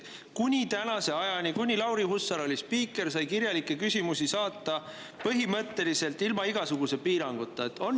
Selle ajani, kui Lauri Hussar sai spiikriks, sai kirjalikke küsimusi saata põhimõtteliselt ilma igasuguse piiranguta.